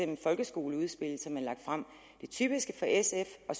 det folkeskoleudspil som de har lagt frem det typiske for sf og